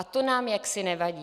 A to nám jaksi nevadí.